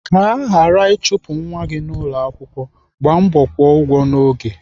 Ka aghara ịchụpụ nwa gị n'ụlọakwụkwọ, gbaa mbọ kwụọ ụgwọ n'oge.